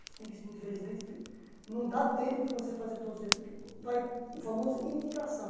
Você tem que, infelizmente, não dá tempo de você fazer todo o servi, porque vai o famoso indicação.